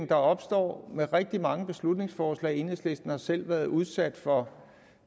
der opstår ved rigtig mange beslutningsforslag som enhedslisten selv har været udsat for